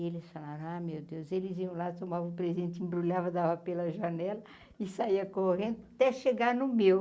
E eles falaram, ah meu Deus, eles iam lá, tomavam o presente, embrulhava, dava pela janela e saía correndo até chegar no meu.